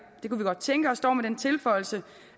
det kunne vi godt tænke os dog med den tilføjelse